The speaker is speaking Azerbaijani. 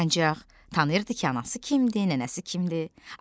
Ancaq tanıyırdı ki, anası kimdir, nənəsi kimdir.